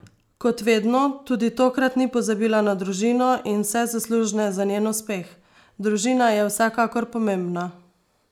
Kot vedno, tudi tokrat ni pozabila na družino in vse zaslužne za njen uspeh: "Družina je vsekakor pomembna.